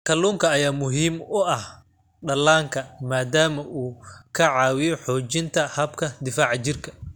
Kalluunka ayaa muhiim u ah dhallaanka maadaama uu ka caawiyo xoojinta habka difaaca jirka.